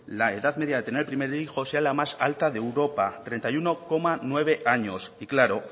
la edad media de tener el primer hijo sea la más alta de europa treinta y uno coma nueve años y claro